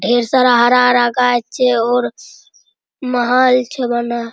ढेर सारा हरा हरा गाछ छे और महल छे बनल |